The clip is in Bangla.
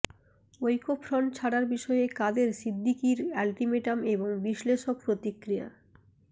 ঐক্যফ্রন্ট ছাড়ার বিষয়ে কাদের সিদ্দিকির আল্টিমেটাম এবং বিশ্লেষক প্রতিক্রিয়া